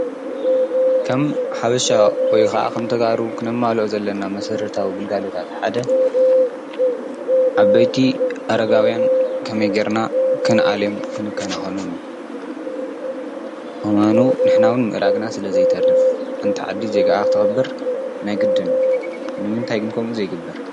ከም ሓበሻ ወይ ኸዓ ኸምተጋሩ ኽነማልኦ ዘለና መሠረታዊ ግልጋሎታት ሓደ ዓበይቲ በይቲ ኣረጋውያን ከመይጌርና ክንዓሌም ክንከነከኖንምን ንሕናውን ምእራግና ስለ ዘይተርፍ ሓንቲዓዲ ዜግኣ ኽተኸብር ናይ ግድን። ንምንታይ ግንከምን ዘይግበር?